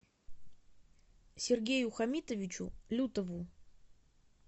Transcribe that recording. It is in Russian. сергею хамитовичу лютову